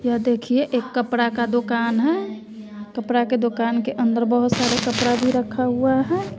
यह देखिए एक कपड़ा का दुकान है कपड़ा के दुकान के अंदर बहुत सारे कपड़ा भी रखा हुआ है।